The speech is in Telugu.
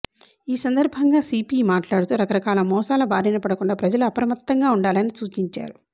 ఈ సందర్భంగా సీపీ మాట్లాడుతూ రకరకాల మోసాల బారినపడకుండా ప్రజలు అప్రమత్తంగా ఉండాలని సూచించారు